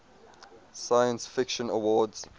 science fiction awards